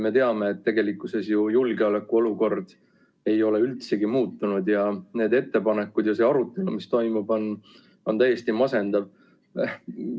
Me teame, et tegelikkuses ju julgeolekuolukord ei ole üldsegi muutunud ja need ettepanekud ja see arutelu, mis toimub, on täiesti masendav.